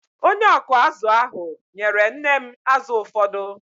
Onye ọkụ azụ̀ ahụ nyere nne m azụ̀ ụfọdụ.